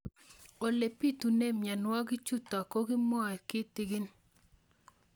Ole pitune mionwek chutok ko kimwau kitig'ín